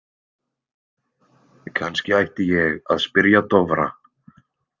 Kannski ætti ég að spyrja Dofra.